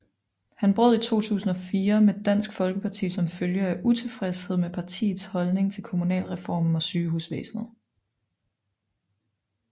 Han brød i 2004 med Dansk Folkeparti som følge af utilfredshed med partiets holdning til kommunalreformen og sygehusvæsenet